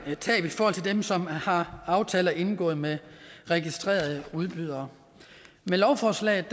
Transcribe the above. tab i forhold til dem som har aftaler indgået med registrerede udbydere med lovforslaget